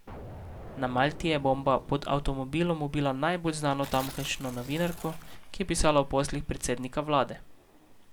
Na Malti je bomba pod avtomobilom ubila najbolj znano tamkajšnjo novinarko, ki je pisala o poslih predsednika vlade.